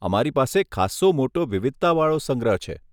અમારી પાસે ખાસ્સો મોટો વિવિધતા વાળો સંગ્રહ છે.